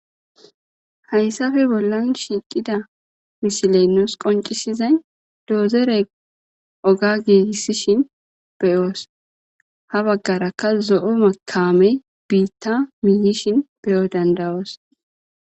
Hayssappe bollan shiiqida misiley nuus qoncisizay doyzorey oga gigisishin be'os; ha bagaarakka zo'o kaamey biita miiyishin be'o danda'os.